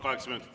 Kaheksa minutit.